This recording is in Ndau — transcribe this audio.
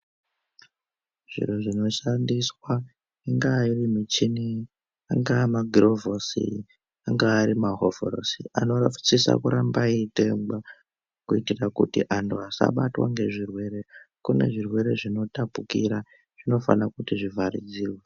Zviro zvinoshandiswa, ingava iri michini, angava ma girovhosi, angava ari mahovhorosi, anosisa kuramba eitengwa kuitira kuti anhu asabatwa ngezvirwe. Kune zvirwere zvinotapukira zvinofana kuti zhivharidzirwa.